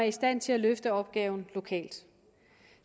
i stand til at løfte opgaven lokalt